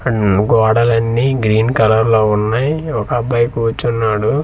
On గోడలని green colour లో ఉన్నాయ్ ఒక అబ్బాయి కూర్చున్నాడు.